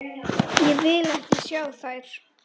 Ég vil ekki sjá þær.